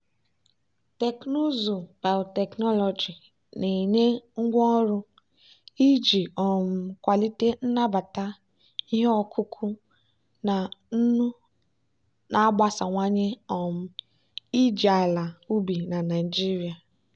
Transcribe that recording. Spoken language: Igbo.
teknụzụ biotechnology na-enye ngwaọrụ iji um kwalite nnabata ihe ọkụkụ na nnu na-agbasawanye um iji ala ubi na nigeria.